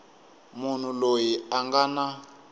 munhu loyi a nga na